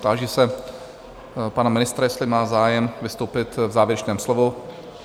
Táži se pana ministra, jestli má zájem vystoupit v závěrečném slovu?